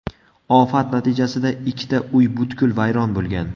Ofat natijasida ikkita uy butkul vayron bo‘lgan.